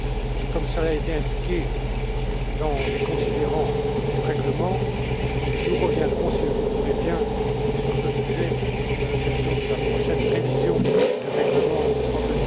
Mais comme cela a été indiqué dans des considérants du règlement, nous reviendrons si vous le voulez bien sur ce sujet à l'occasion de la prochaine révision du règlement en